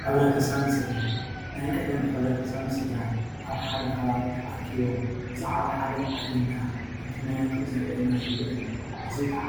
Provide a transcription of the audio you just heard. ሕብረተሰብን ስደራን ናይ ቀደም ሕብረተሰብን ስደራን ኣብ ሓደ ከባቢ ተኣኪቦም ብዛዕቦ ሓደ ኣጀንዳ እንትመያያጡ ዘርእየና ዘሎ እዩ። እዙይ ከዓ